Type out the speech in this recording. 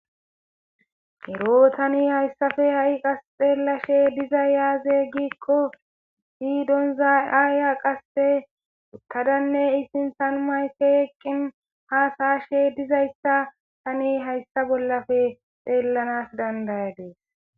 ero tani hayssafe ha'i qas xeelashe dizay aze giikko isi donza aya qasse uttadanne i sinthan mayke eqqin haasa'ashe dizayssa tani hayssa bollafe xeellanas dandayadis